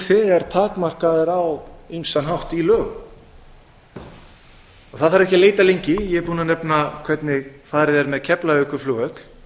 þegar takmarkaður á ýmsan hátt í lögum það þarf ekki að leita lengi ég er búinn að nefna hvernig farið er með keflavíkurflugvöll